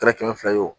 Kɛra kɛmɛ fila ye o